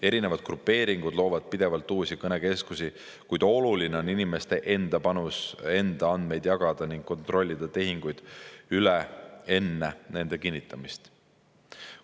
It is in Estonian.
Erinevad grupeeringud loovad pidevalt uusi kõnekeskusi, kuid oluline on inimeste enda panus: enda andmeid mitte jagada ja kontrollida tehingud üle enne nende kinnitamist.